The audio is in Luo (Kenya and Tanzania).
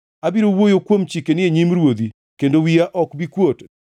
Abiro wuoyo kuom chikeni e nyim ruodhi kendo wiya ok bi kuot,